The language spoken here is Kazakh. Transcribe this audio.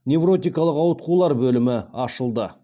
невротикалық ауытқулар бөлімі ашылды